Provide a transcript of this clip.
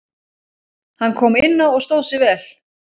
Hann kom inná og stóð sig vel.